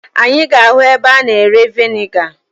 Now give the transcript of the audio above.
Anyị ga-ahụ ebe a na-ere veniga.